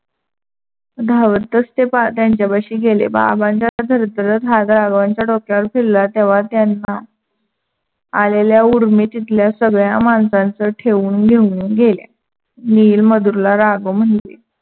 धावतच ते त्यांच्या पाशी गेले. बाबाच्या थरथरत हाथ राघावांच्या फिरला तेव्हा त्यांना आलेल्या उर्मी तिथल्या सगळ्या माणसांच ठेवून घेऊन गेले. नील, मधुरला राघव म्हणले.